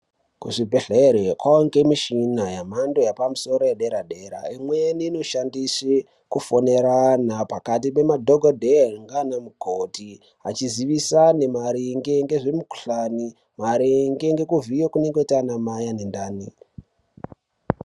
Kuzvibhedhlera kwakuwanikwa mishina yemhando yepamusoro yedera dera imweni inoshandise kufonera antu pakati pemadhokoteya nana mukoti achizivisana maringe nezvemikuhlani maringe nekuvhiyiwa ana mai anenge ane ndani.